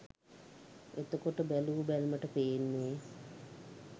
එතකොට බැලූ බැල්මට පේන්නේ